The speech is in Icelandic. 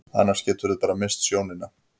Annars geturðu bara misst sjónina.